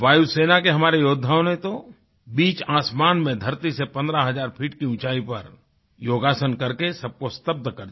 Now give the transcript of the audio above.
वायुसेना के हमारे योद्धाओं ने तो बीच आसमान में धरती से 15 हज़ार फुट की ऊंचाई पर योगासन करके सबको स्तब्ध कर दिया